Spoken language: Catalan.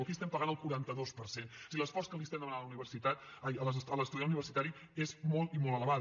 aquí estem pagant el quaranta dos per cent o sigui l’esforç que estem demanant a l’estudiant universitari és molt i molt elevat